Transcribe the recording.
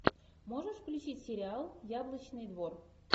можешь включить сериал яблочный двор